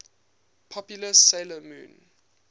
popular 'sailor moon